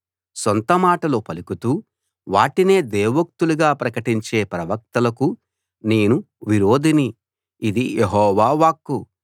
సొంత మాటలు పలుకుతూ వాటినే దేవోక్తులుగా ప్రకటించే ప్రవక్తలకు నేను విరోధిని ఇది యెహోవా వాక్కు